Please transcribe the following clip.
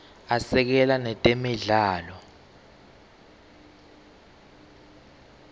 asekela netemidlalo